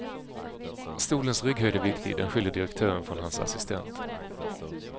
Stolens rygghöjd är viktig, den skiljer direktören från hans assistent.